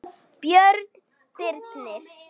Björn Birnir.